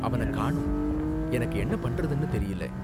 அவன காணோம், எனக்கு என்ன பண்றதுனு தெரியல.